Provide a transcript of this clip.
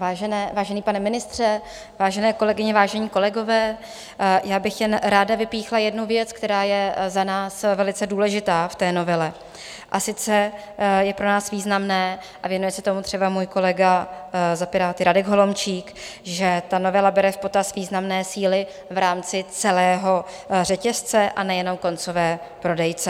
Vážený pane ministře, vážené kolegyně, vážení kolegové, já bych jen ráda vypíchla jednu věc, která je za nás velice důležitá v té novele, a sice je pro nás významné, a věnuje se tomu třeba můj kolega za Piráty Radek Holomčík, že ta novela bere v potaz významné síly v rámci celého řetězce, a nejenom koncové prodejce.